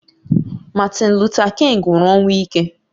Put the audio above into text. Martin Luther King nwụrụ ọnwụ ike